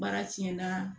Baara tiɲɛna